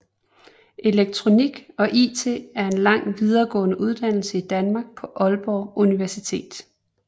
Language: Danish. Elektronik og IT er en lang videregående uddannelse i Danmark på Aalborg Universitet